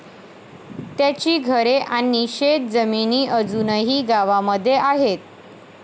त्यांची घरे आणि शेत जमिनी अजूनही गावामध्ये आहेत.